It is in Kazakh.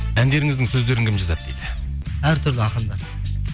әндеріңіздің сөздерін кім жазады дейді әртүрлі ақындар